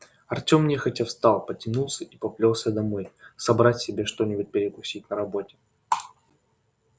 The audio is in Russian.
артем нехотя встал потянулся и поплёлся домой собрать себе что-нибудь перекусить на работе